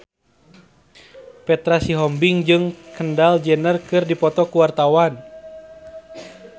Petra Sihombing jeung Kendall Jenner keur dipoto ku wartawan